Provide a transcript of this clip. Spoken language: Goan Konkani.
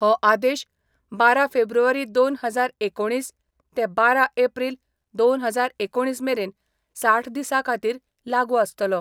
हो आदेश बारा फेब्रुवारी दोन हजार एकुणीस ते बारा एप्रील दोन हजार एकुणीस मेरेन साठ दिसा खातीर लागू आसतलो.